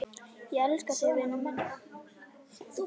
Ég elska þig, vinur minn.